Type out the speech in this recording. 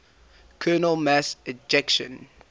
coronal mass ejections